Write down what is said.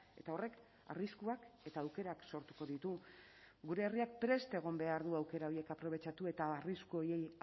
eta horrek arriskuak eta aukerak sortuko ditu gure herriak prest egon behar du aukera horiek aprobetxatu eta arrisku horiei